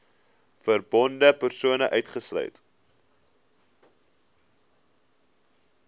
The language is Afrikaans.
verbonde persone uitgesluit